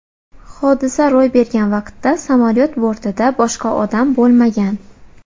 Hodisa ro‘y bergan vaqtda samolyot bortida boshqa odam bo‘lmagan.